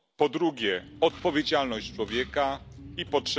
Po drugie odpowiedzialność człowieka i po trzecie...